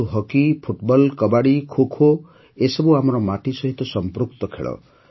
କିନ୍ତୁ hockey football kabaddi kho kho ଏସବୁ ଆମର ମାଟି ସହିତ ସମ୍ପୃକ୍ତ ଖେଳ